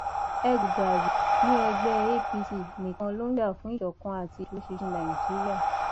ẹgùdàrì ní ẹgbẹ apc nìkan ló ń jà fún ìṣọkan àti ìdúróṣinṣin nàìjíríà